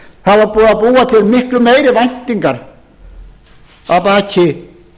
það var búið að búa til miklu meiri væntingar að baki